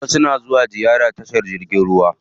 Wasu na zuwa ziyara tashar jirgin ruwa.